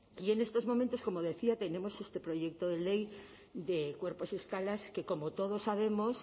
y en estos momentos como decía tenemos este proyecto de ley de cuerpos y escalas que como todos sabemos